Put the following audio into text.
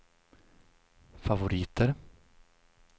favoriter